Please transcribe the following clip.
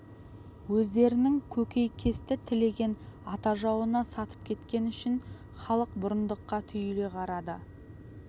өздерінің көкейкесті тілегін ата жауына сатып кеткені үшін халық бұрындыққа түйіле қарады